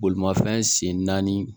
Bolimafɛn sen naani